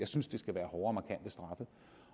synes det skal være hårde